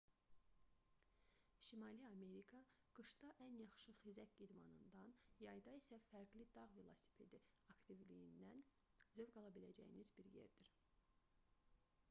şimali amerika qışda ən yaxşı xizək idmanından yayda isə fərqli dağ velosipedi aktivliyindən zövq ala biləcəyiniz bir yerdir